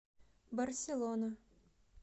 барселона